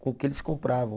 Com o que eles compravam.